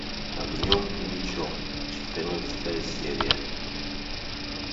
огнем и мечом четырнадцатая серия